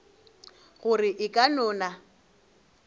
gore e ka no na